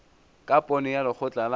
ka pono ya lekgotla la